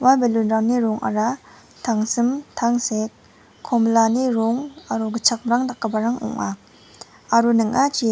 ua balloon-rangni rongara tangsim tangsek komilani rong aro gitchakmrang dakgiparang ong·a aro ning·achi--